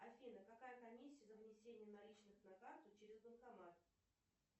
афина какая комиссия за внесение наличных на карту через банкомат